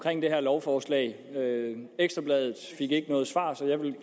det her lovforslag ekstra bladet fik ikke noget svar så jeg vil